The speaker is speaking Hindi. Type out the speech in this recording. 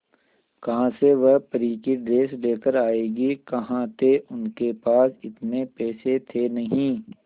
कहां से वह परी की ड्रेस लेकर आएगी कहां थे उनके पास इतने पैसे थे नही